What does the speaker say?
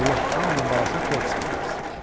Allah hamının balasına toy qismət eləsin.